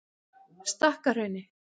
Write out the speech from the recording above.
Stakkahrauni